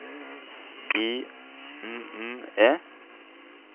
S I N N E